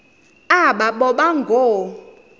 aba boba ngoo